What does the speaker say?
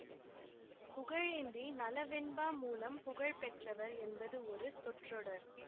புகழேந்தி நளவெண்பா மூலம் புகழ் பெற்றவர் என்பது ஒரு சொற்றொடர்